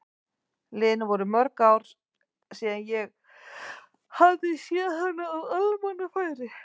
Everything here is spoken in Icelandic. Liðin voru mörg ár síðan ég hafði séð hana á almannafæri.